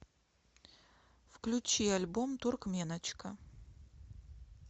включи альбом туркменочка